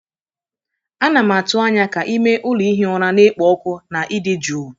Ana m atụ anya ka ime ụlọ ihi ụra na-ekpo ọkụ na ịdị jụụ.